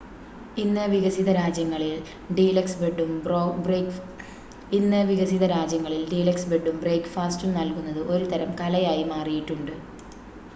ഇന്ന് വികസിത രാജ്യങ്ങളിൽ ഡീലക്സ് ബെഡും ബ്രേക്ക്ഫാസ്റ്റും നൽകുന്നത് ഒരുതരം കലയായി മാറിയിട്ടുണ്ട്